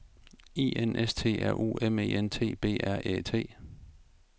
I N S T R U M E N T B R Æ T